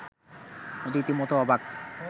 রীতিমত অবাক